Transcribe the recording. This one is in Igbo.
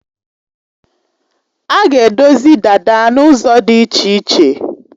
A ga-edozi dada n'ụzọ dị iche iche.